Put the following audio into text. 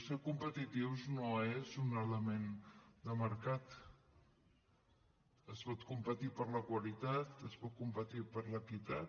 ser competitius no és un element de mercat es pot competir per la qualitat es pot competir per l’equitat